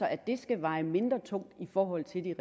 at det skal veje mindre tungt i forhold til de